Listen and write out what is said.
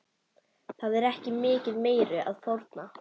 Það er ekki mikið meiru að fórna.